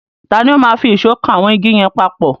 Tani ó máa fi ìṣọ́ kan àwọn igi yẹn papọ̀?